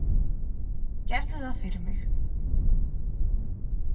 Gerðu það fyrir mig.